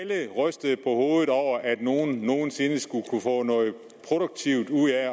rystede på hovedet over at nogen nogen sinde skulle kunne få noget produktivt ud af at